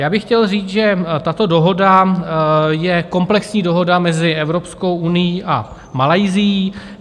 Já bych chtěl říct, že tato dohoda je komplexní dohoda mezi Evropskou unií a Malajsií.